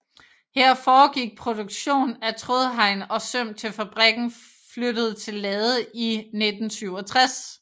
Her foregik produkstion af trådhegn og søm til fabrikken flyttede til Lade i 1967